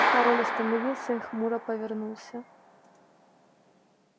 король остановился и хмуро повернулся